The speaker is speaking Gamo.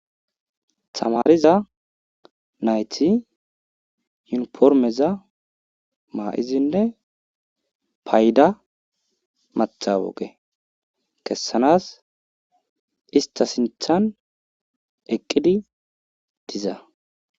Tamariza nayti yuunifrimeza ma'izinne payda matawuqqe kesanawus ista sinththan eqqidi diza .